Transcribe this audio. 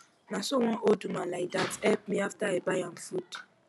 na so one old woman like dat help me after i buy am food